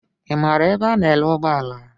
Ị maara ebe a ná-ere ụgbọala?